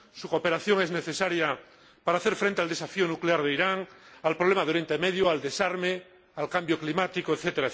su cooperación es necesaria para hacer frente al desafío nuclear de Irán, al problema de Oriente Medio, al desarme, al cambio climático, etc.